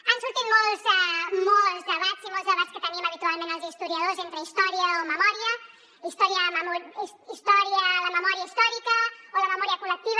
han sortit molts debats i molts debats que tenim habitualment els historiadors entre història o memòria la memòria històrica o la memòria col·lectiva